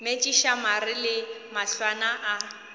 metšiša mare le mahlwana a